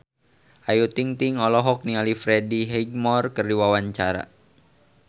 Ayu Ting-ting olohok ningali Freddie Highmore keur diwawancara